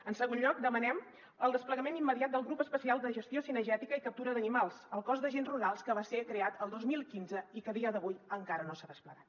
en segon lloc demanem el desplegament immediat del grup especial de ges·tió cinegètica i captura d’animals al cos d’agents rurals que va ser creat el dos mil quinze i que a dia d’avui encara no s’ha desplegat